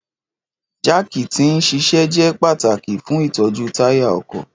Jaaki ti n ṣiṣẹ jẹ pataki fun itọju taya ọkọ.